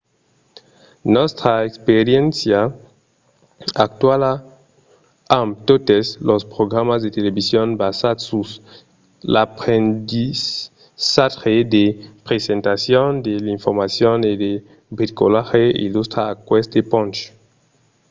nòstra experiéncia actuala amb totes los programas de television basats sus l'aprendissatge de presentacion de l'informacion e de bricolatge illustra aqueste ponch